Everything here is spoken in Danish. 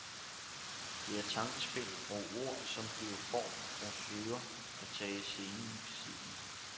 Der er tankespind og ord, som bliver form og søger at tage scenen i besiddelse.